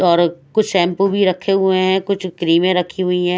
और कुछ शैंपू भी रखे हुए हैं कुछ क्रीमें रखी हुई है।